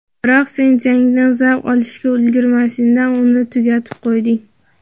biroq sen jangdan zavq olishga ulgurmasidan uni tugatib qo‘yding.